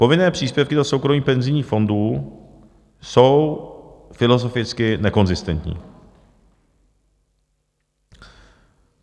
Povinné příspěvky do soukromých penzijních fondů jsou filozoficky nekonzistentní.